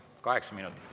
Kaheksa minutit.